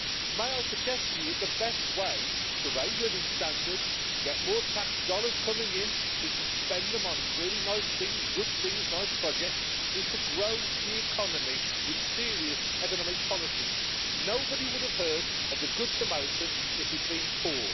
May I suggest that the best way to raise living standards, to get more tax dollars coming in so you can spend them on really nice things, good things, nice projects, is to grow the economy with serious economic policies. Nobody would have heard of the Good Samaritan if he'd been poor.